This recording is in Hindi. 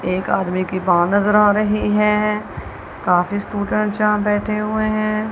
एक आदमी के बाल नज़र आ रहे है। काफी स्टूडेंट यहाँ बैठे हुए हैं।